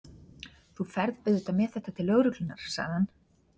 Þú ferð auðvitað með þetta til lögreglunnar, sagði hann.